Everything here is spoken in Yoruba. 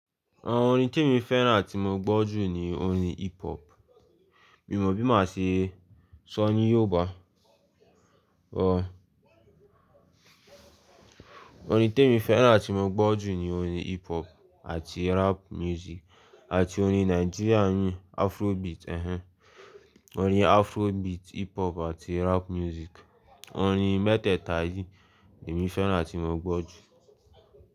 Àwon orin temi fẹ́rán atí mo gbọ́ jù ni orin hip hop. Mi ò mọ̀ bí mo máa ṣe sọ ní Yoruba. Ọ̀, orin temi fẹ́rán atí mo gbọ́ jù ni orin hip hop àti rap music àti orin Nigerian yín Afrobeat. Ẹ̀hẹn, orin Afrobeat, hip hop àti rap music. Orin mẹ́tẹ̀ẹ̀ta yìí l'emí fẹ́rán atí mo gbọ́ jù.